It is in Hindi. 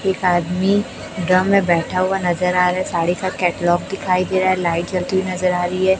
एक आदमी ड्रम में बैठा हुवा नजर आ रहा हैं साढ़े सात कैटलॉग दिखाई दे रहा हैं लाईट जलती हुई नजर आ रहीं हैं।